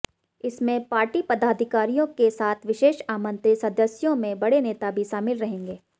इसमें पार्टी पदाधिकारियों के साथ विशेष आमंत्रित सदस्यों में बड़े नेता भी शामिल रहेंगे